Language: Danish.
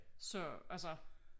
Så altså